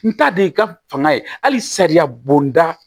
N ta de ka fanga ye hali sariya bonda